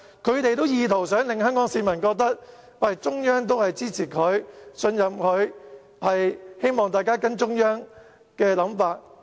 他們意圖令香港市民覺得中央支持他、信任他，希望大家跟隨中央的想法。